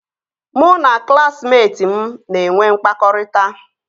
Mụ na klaasịmetị m na-enwe mkpakọrịta